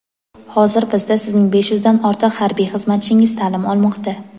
Hozir bizda sizning besh yuzdan ortiq harbiy xizmatchingiz ta’lim olmoqda.